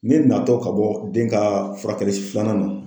Ne na tɔ ka bɔ den ka furakɛli filanan na.